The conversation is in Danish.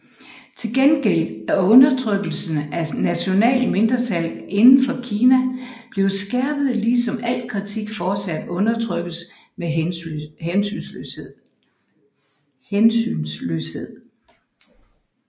Til gengæld er undertrykkelsen af nationale mindretal inden for Kina blevet skærpet lige som al kritik fortsat undertrykkes med hensynsløshed